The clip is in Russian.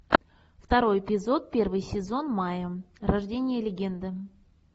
второй эпизод первый сезон майя рождение легенды